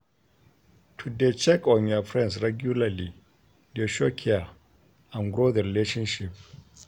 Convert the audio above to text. To de check on your friends regularly de show care and grow the relationship